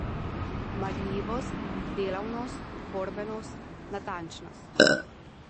Marljivost, delavnost, borbenost, natančnost...